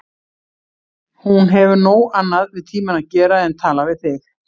Hún hefur nóg annað við tímann að gera en tala við þig.